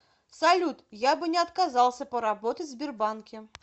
салют я бы не отказался поработать в сбербанке